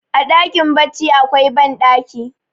a dakin baccin akwai bandaki